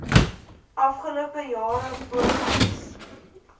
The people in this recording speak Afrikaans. afgelope jare pogings